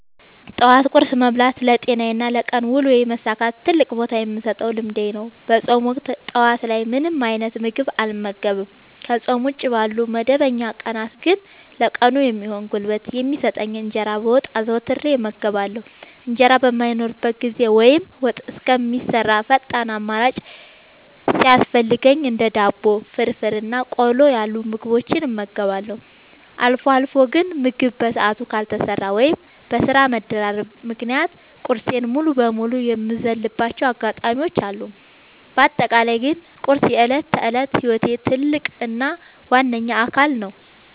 ጠዋት ቁርስ መብላት ለጤናዬና ለቀን ውሎዬ መሳካት ትልቅ ቦታ የምሰጠው ልምዴ ነው። በፆም ወቅት ጠዋት ላይ ምንም አይነት ምግብ አልመገብም። ከፆም ውጪ ባሉ መደበኛ ቀናት ግን ለቀኑ የሚሆን ጉልበት የሚሰጠኝን እንጀራ በወጥ አዘውትሬ እመገባለሁ። እንጀራ በማይኖርበት ጊዜ ወይም ወጥ እስከሚሰራ ፈጣን አማራጭ ሲያስፈልገኝ እንደ ዳቦ፣ ፍርፍር እና ቆሎ ያሉ ምግቦችን እመገባለሁ። አልፎ አልፎ ግን ምግብ በሰዓቱ ካልተሰራ ወይም በስራ መደራረብ ምክንያት ቁርሴን ሙሉ በሙሉ የምዘልባቸው አጋጣሚዎች አሉ። በአጠቃላይ ግን ቁርስ የዕለት ተዕለት ህይወቴ ትልቅ እና ዋነኛ አካል ነው።